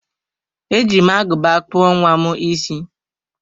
E ji m aguba kpụọ nwa m isi.